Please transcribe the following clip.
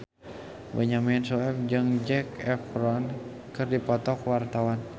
Benyamin Sueb jeung Zac Efron keur dipoto ku wartawan